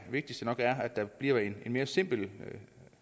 vigtigste nok er at der bliver mere simple